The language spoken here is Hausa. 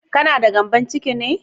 Kana da gyambon ciki ne?